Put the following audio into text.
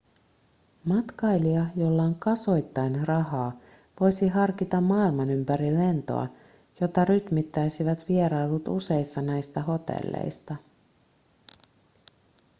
matkailija jolla on kasoittain rahaa voisi harkita maailmanympärilentoa jota rytmittäisivät vierailut useissa näistä hotelleista